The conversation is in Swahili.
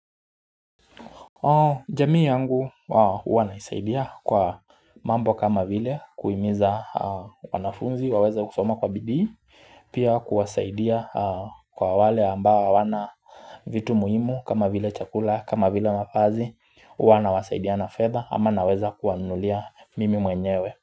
Jamii yangu wanaisaidia kwa mambo kama vile kuhimiza wanafunzi waweze kusoma kwa bidii Pia kuwasaidia kwa wale ambao hawana vitu muhimu kama vile chakula kama vile mavazi Huwa nawasaidia na fedha ama naweza kuwanunulia mimi mwenyewe.